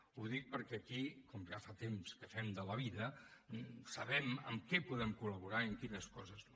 ho dic perquè aquí com ja fa temps que fem de la vida sabem en què podem col·laborar i en quines coses no